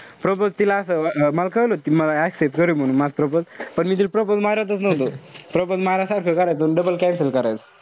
Propose तिला असं अं मला कळलं होत ती मला accept करेल म्हणून. पण मी तील propose मारतच नव्हतो. Propose मारा सारखं करायचो अन double cancel करायचो.